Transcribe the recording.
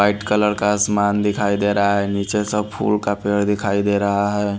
White colour का आसमान दिखाई दे रहा है। नीचे सब फूलों का पेड़ दिखाई दे रहा है।